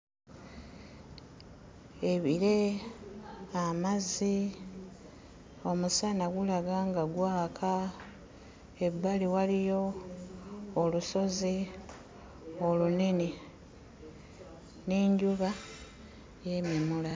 Ebire, amazzi, omusana gulaga nga gwaka, ebbali waliyo olusozi olunene, n'enjuba yeememula.